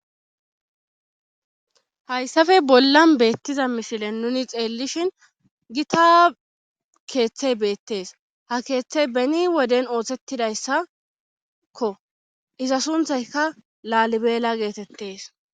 hayssappe bollan beettiza misilen nuni xeellishin gita keeththey beettees ha keeththey beni woden oohthettidayssakko iza sunthayka laalibeela geetettes